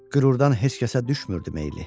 Qürurdan heç kəsə düşmürdü meyli.